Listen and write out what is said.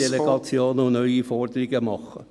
... Delegationen machen und neue Forderungen stellen.